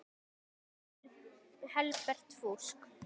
Annað er helbert fúsk.